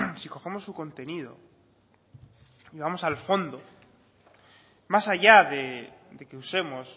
si cogemos su contenido y vamos al fondo más allá de que usemos